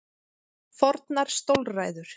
Fornar stólræður.